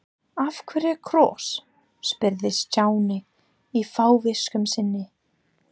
Af hverju kross? spurði Stjáni í fávisku sinni.